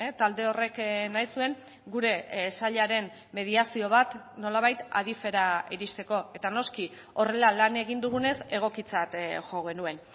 talde horrek nahi zuen gure sailaren mediazio bat nolabait adif era iristeko eta noski horrela lan egin dugunez egokitzat jo genuen